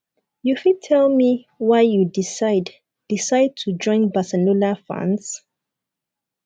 you fit tell me why u decide decide to join barcelona fans